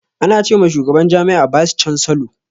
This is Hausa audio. Ana ce ma shugaban jami'a bice cansilor.